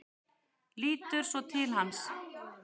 Lítur svo til hans.